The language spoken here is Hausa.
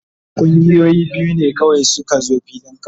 Kungiyoyi biyu ne kawai su ka zo filin kauye.